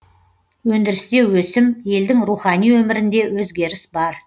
өндірісте өсім елдің рухани өмірінде өзгеріс бар